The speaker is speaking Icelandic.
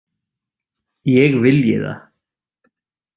Ég vilji það?